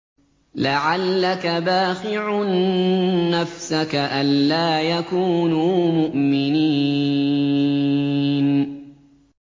لَعَلَّكَ بَاخِعٌ نَّفْسَكَ أَلَّا يَكُونُوا مُؤْمِنِينَ